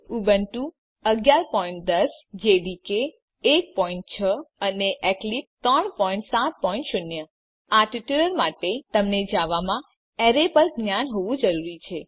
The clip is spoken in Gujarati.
ઉબુન્ટુ ૧૧૧૦ જેડીકે ૧૬ અને એક્લીપ્સ ૩૭૦ આ ટ્યુટોરીયલ માટે તમને જાવામાં એરે પર જ્ઞાન હોવું જરૂરી છે